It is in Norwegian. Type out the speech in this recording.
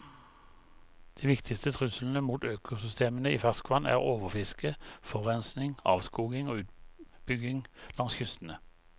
De viktigste truslene mot økosystemene i ferskvann er overfiske, forurensning, avskoging og utbygging langs kystene.